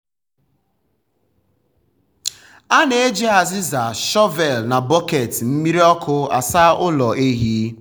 um a na-eji azịza shọvel um na bọket mmiri ọkụ asa ụlọ ehi.